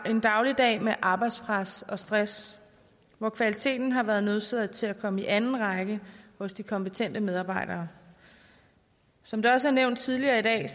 en dagligdag med arbejdspres og stress hvor kvaliteten har været nødsaget til at komme i anden række hos de kompetente medarbejdere som det også nævnt tidligere i dag